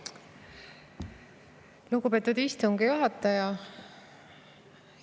Lugupeetud istungi juhataja!